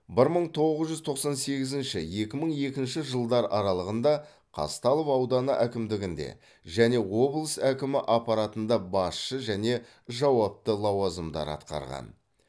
бір мың тоғыз жүз тоқсан сегізінші екі мың екінші жылдар аралығында қазталов ауданы әкімдігінде және облыс әкімі аппаратында басшы және жауапты лауазымдар атқарған